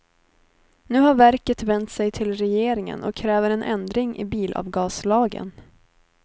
Nu har verket vänt sig till regeringen och kräver en ändring i bilavgaslagen.